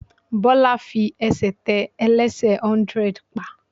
Bọ́lá fi ẹsẹ̀ tẹ ẹlẹ́sẹ̀ hundred pa.